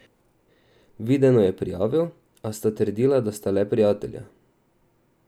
Videno je prijavil, a sta trdila, da sta le prijatelja.